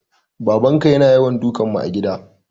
Babanka yana yawan dukan mu a gida